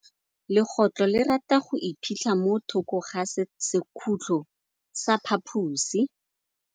Legôtlô le rata go iphitlha mo thokô ga sekhutlo sa phaposi.